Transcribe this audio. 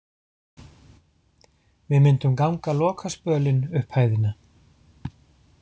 Við myndum ganga lokaspölinn upp hæðina.